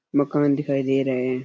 मकान दिखाई दे रहे है।